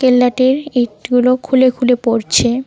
কেল্লাটির ইটগুলো খুলে খুলে পড়ছে।